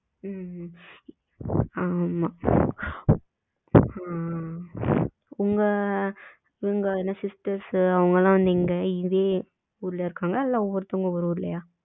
manage உங்க sisters நீங்க அவங்க எல்லாம் அங்கயே இருக்காங்களா? இல்ல ஒவ்வொருத்தங்களும் ஒவ்வொரு ஊருலையா?